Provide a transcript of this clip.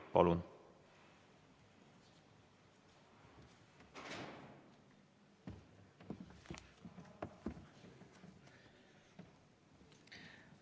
Palun!